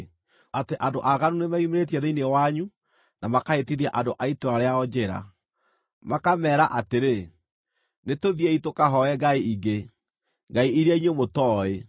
atĩ andũ aaganu nĩmeyumĩrĩtie thĩinĩ wanyu na makahĩtithia andũ a itũũra rĩao njĩra, makameera atĩrĩ, “Nĩtũthiĩi tũkahooe ngai ingĩ” (ngai iria inyuĩ mũtooĩ),